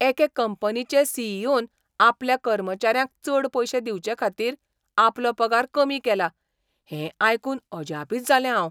एके कंपनीचे C. E. ओ.न आपल्या कर्मचाऱ्यांक चड पयशे दिवचेखातीर आपलो पगार कमी केला हें आयकून अजापित जालें हांव.